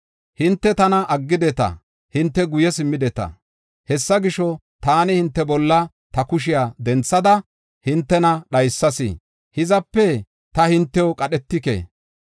“Hinte tana aggideta; hinte guye simmideta. Hessa gisho, taani hinte bolla ta kushiya denthada hintena dhaysas; hizape ta hintew qadhetike.